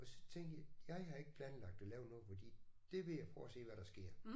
Og så tænkte jeg jeg har ikke planlagt at lave noget fordi det vil jeg prøve at se hvad der sker